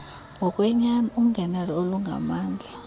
ngokwenyani ungenelo olungamandla